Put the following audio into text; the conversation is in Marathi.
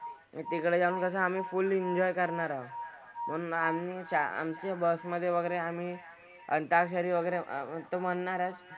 तिकडे जाऊन कसं आम्ही full enjoy करणार आहोत. म्हणून आम्ही आमची bus मधे वगैरे आम्ही अं अंताक्षरी वगैरे तर ते म्हणणार आहेत.